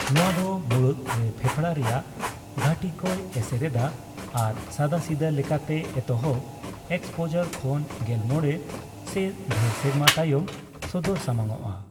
ᱱᱚᱣᱟ ᱫᱚ ᱢᱩᱬᱩᱛ ᱨᱮ ᱯᱷᱮᱸᱯᱲᱟ ᱨᱮᱭᱟᱜ ᱜᱷᱟᱴᱤ ᱠᱚᱭ ᱮᱥᱮᱨ ᱮᱫᱟ ᱟᱨ ᱥᱟᱫᱟᱥᱤᱫᱟᱹ ᱞᱮᱠᱟᱛᱮ ᱮᱛᱚᱦᱚᱵ ᱮᱠᱥᱯᱳᱡᱟᱨ ᱠᱷᱚᱱ ᱜᱮᱞ ᱢᱚᱲᱮ ᱥᱮ ᱫᱷᱮᱨ ᱥᱮᱨᱢᱟ ᱛᱟᱭᱚᱢ ᱥᱚᱫᱚᱨ ᱥᱟᱢᱟᱝᱚᱜᱼᱟ ᱾